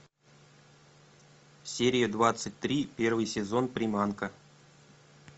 серия двадцать три первый сезон приманка